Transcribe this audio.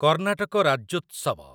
Karnataka Rajyotsava